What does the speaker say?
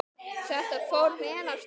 Þetta fór vel af stað.